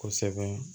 Kosɛbɛ